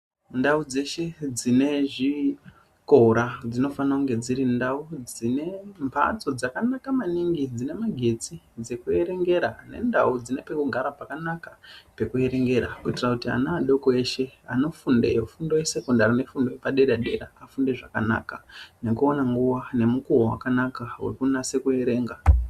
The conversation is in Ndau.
Ndau dzeshe dzine zvikora ,dzinofanonge dziri ndau dzine mbatso dzakanaka maningi, dzine magetsi dzekuerengera ,nendau dzine pekugara pakanaka pekuerengera ,kuyitira ana adoko eshe anofundeyo fundo yesekondari nefundo yepadera-dera, vafunde zvakanaka nekuwana nguwa nemukuwo wakanaka wekunase kuerenga.